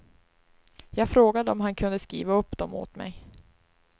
Jag frågade om han kunde skriva upp dom åt mig.